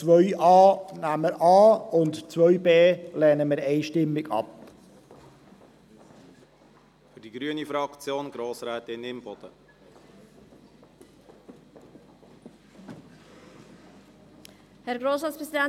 Wir nehmen also die Planungserklärung 2a.a an und lehnen die Planungserklärung 2b einstimmig ab.